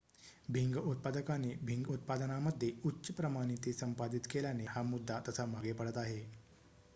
भिंग उत्पादकांनी भिंग उत्पादनामध्ये उच्च प्रमाणिते संपादित केल्याने हा मुद्दा तसा मागे पडत आहे